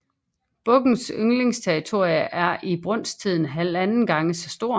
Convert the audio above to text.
Bukkens yngleterritorium er i brunsttiden halvanden gang så stort